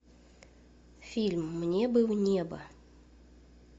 фильм мне бы в небо